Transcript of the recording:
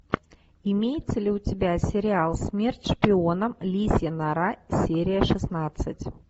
имеется ли у тебя сериал смерть шпионам лисья нора серия шестнадцать